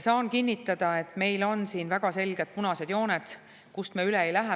Saan kinnitada, et meil on siin väga selged punased jooned, kust me üle ei lähe.